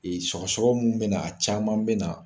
Sɔgɔsɔgɔ min bɛ na caman bɛ na